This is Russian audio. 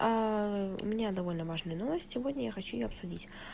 у меня довольно важная новость сегодня я хочу её обсудить